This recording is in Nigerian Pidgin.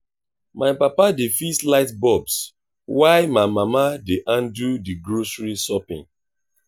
my papa dey fix light bulbs while my mama dey handle the grocery shopping.